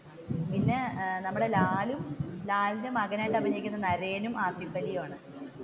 പിന്നെ നമ്മുടെ ലാൽ ലാലിന്റെ മകനായിട്ട് അഭിനയിക്കുന്നത് നരയനും, ആസിഫലിയുമാണ്.